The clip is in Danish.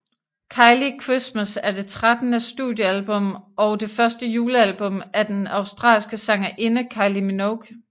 Kylie Christmas er det trettende studiealbum og det første julealbum af den australske sangerinde Kylie Minogue